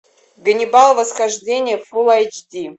ганнибал восхождение фулл эйч ди